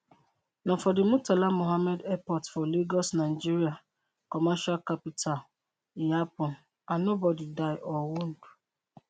na for di murtala mohammed airport for lagos nigeria commercial capital e happun and no body die or wound